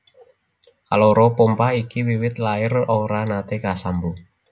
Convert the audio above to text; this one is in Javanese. Kaloro pompa iki wiwit lair ora naté kasambung